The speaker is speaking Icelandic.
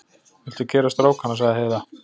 Viltu keyra strákana, sagði Heiða.